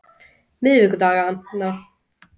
miðvikudaganna